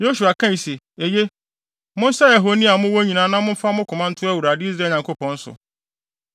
Yosua kae sɛ, “Eye, monsɛe ahoni a mowɔ nyinaa na momfa mo koma nto Awurade, Israel Nyankopɔn so.”